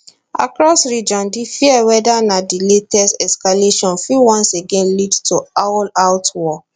across region di fear whether na di latest escalation fit once again lead to allout war